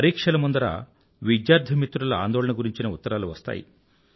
పరీక్షల ముందర విద్యార్థిమిత్రుల ఆందోళన గురించిన ఉత్తరాలు వస్తాయి